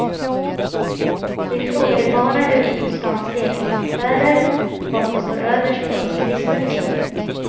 Vi frågade barnen ute på stans leksaksaffärer vad som står överst på önskelistan just nu.